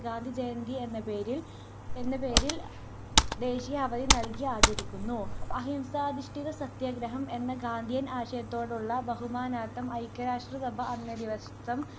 ഗാന്ധിജയന്തി എന്ന പേരിൽ ദേശീയ അവധി നൽകി ആചരിക്കുന്നു. അഹിംസാധിഷ്ഠിത സത്യാഗ്രഹം എന്ന ഗാന്ധിയൻ ആശയത്തോടുള്ള ബഹുമാനാർത്ഥം ഐക്യരാഷ്ട്രസഭ അന്നേ ദിവസം